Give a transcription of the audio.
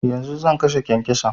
Yanzu zan kashe kyankyason